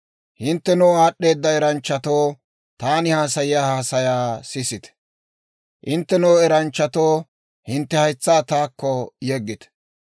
«Hinttenoo, aad'd'eeda eranchchatoo, taani haasayiyaa haasayaa sisite. Hinttenoo, eranchchatoo, hintte haytsaa taakko yeggite.